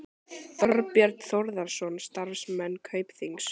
Þorbjörn Þórðarson: Starfsmenn Kaupþings?